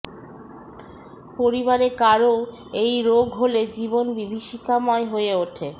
পরিবারে কারও এই রোগ হলে জীবন বিভীষিকাময় হয়ে ওঠে